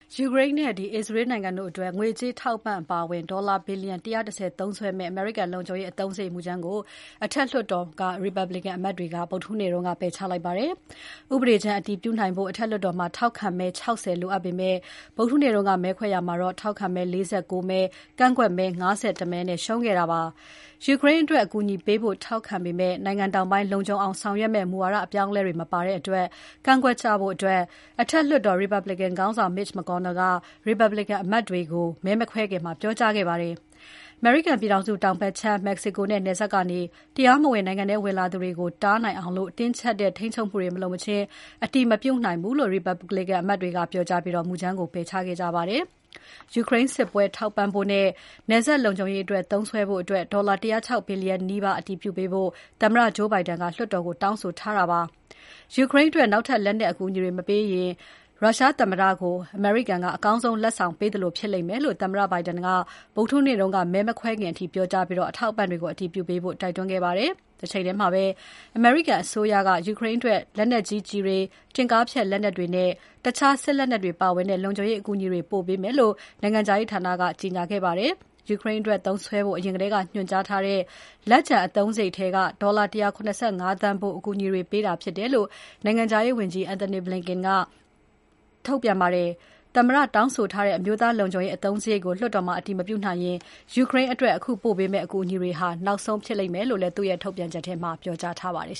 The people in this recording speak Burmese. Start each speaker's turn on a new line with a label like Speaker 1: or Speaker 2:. Speaker 1: ယူကရိန်းနဲ့ အစ္စရေးနိုင်ငံတွေအတွက် ငွေကြေးအထောက်အပံ့အပါအဝင် ဒေါ်လာ ဘီလျံ ၁၁၀ သုံးစွဲမယ့် အမေရိကန်လုံခြုံရေး အသုံးစရိတ်မူကြမ်းကို အထက်လွှတ်တော်မှာ Republican အမတ်တွေက ပယ်ချလိုက်ပါတယ်။ ဥပဒေကြမ်း အတည်ပြုနိုင်ဖို့ အထက်လွှတ်တော်မှာ ထောက်ခံမဲ ၆၀ လိုအပ်ပေမယ့် ဗုဒ္ဓဟူးနေ့က မဲခွဲရာမှာ ထောက်ခံမဲ ၄၉ မဲ၊ ကန့်ကွက်မဲ ၅၁ မဲနဲ့ ရှုံးနိမ့်ခဲ့တာပါ။ ယူကရိန်းအတွက် အကူအညီပေးဖို့ ထောက်ခံပေမယ့် နိုင်ငံတောင်ပိုင်း လုံခြုံအောင်ဆောင်ရွက်မယ့် မူဝါဒအပြောင်းအလဲတွေ မပါတဲ့အတွက် ကန့်ကွက်ကြဖို့ အထက်လွှတ်တော် Republican ခေါင်းဆောင် Mitch McConnell က Republican အမတ်တွေကို မဲမခွဲခင်မှာ ပြောကြားခဲ့ပါတယ်။ အမေရိကန်ပြည်ထောင်စုတောင်ဘက်ခြမ်း မက္ကဆီကိုနဲ့နယ်စပ်ကနေ တရားမဝင် နိုင်ငံထဲဝင်လာသူတွေကို တားနိုင်အောင် တင်းကြပ်တဲ့ထိန်းချုပ်မှုတွေ မလုပ်မချင်း အတည်မပြုနိုင်ဘူးလို့ Republican အမတ်တွေကလည်း ပြောကြားပြီး မူကြမ်းကို ပယ်ချခဲ့ကြပါတယ်။ ယူကရိန်းစစ်ပွဲ ထောက်ပံ့ဖို့နဲ့ နယ်စပ်လုံခြုံရေးအတွက်သုံးစွဲဖို့ ဒေါ်လာ ၁၀၆ ဘီလျံနီးပါးအတည်ပြုပေးဖို့ သမ္မတ Joe Biden က လွှတ်တော်ကို တောင်းဆိုထားတာပါ။ ယူကရိန်းအတွက် နောက်ထပ်လက်နက်အကူအညီတွေ မပေးနိုင်ရင် ရုရှားသမ္မတကို အမေရိကန်က အကောင်းဆုံးလက်ဆောင်ပေးသလို ဖြစ်လိမ့်မယ်လို့ သမ္မတ Biden က ဗုဒ္ဓဟူးနေ့က မဲမခွဲခင်အထိပြောကြားပြီး အထောက်အပံ့တွေကို အတည်ပြုပေးဖို့ တိုက်တွန်းခဲ့ပါတယ်။ တချိန်ထဲမှာပဲ အမေရိကန်အစိုးရက ယူကရိန်းအတွက် လက်နက်ကြီးကျည်တွေ၊ တင့်ကားဖျက်လက်နက်တွေနဲ့ တခြားစစ်လက်နက်တွေပါဝင်တဲ့ လုံခြုံရေးအကူအညီတွေ ပို့ပေးမယ်လို့ နိုင်ငံခြားရေးဌာနက ကြေညာခဲ့ပါတယ်။ ယူကရိန်းအတွက်သုံးစွဲဖို့ အရင်ထဲက ညွှန်ကြားထားတဲ့ လက်ကျန် အသုံးစရိတ်ထဲက ဒေါ်လာ ၁၇၅ သန်းဖိုး အကူအညီတွေ ပေးတာဖြစ်တယ်လို့ နိုင်ငံခြားရေးဝန်ကြီး Antony Blinken က ထုတ်ပြန်ပါတယ်။ သမ္မတတောင်းဆိုထားတဲ့ အမျိုးသားလုံခြုံရေးအသုံးစရိတ်ကိုလွှတ်တော်မှာ အတည်မပြုနိုင်ရင် ယူကရိန်းအတွက် အခုပေးပို့တဲ့ အကူအညီတွေနောက်ဆုံး ဖြစ်လိမ့်မယ်လို့ ထုတ်ပြန်ချက်ထဲမှာ ပြောထားပါတယ်